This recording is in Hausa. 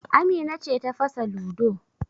Amina ce ta fasa ludo